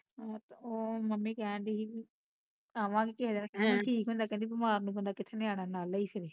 ਓਹ ਮੰਮੀ ਕਹਿਣ ਡਈ ਸੀ ਵੀ ਆਵਾਂਗੇ ਕਿਸੀ ਦਿਨ ਹਮ ਕਹਿੰਦੀ ਠੀਕ ਹੁੰਦਾ ਤੇ ਕਹਿੰਦੀ ਬਿਮਾਰ ਨੂੰ ਕਿੱਥੇ ਬੰਦਾ ਨਿਆਣਿਆ ਨੂੰ ਨਾਲ ਲਈ ਫਿਰੇ